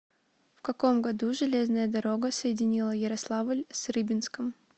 в каком году железная дорога соединила ярославль с рыбинском